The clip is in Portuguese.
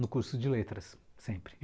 No curso de letras, sempre.